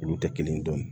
Olu tɛ kelen dɔn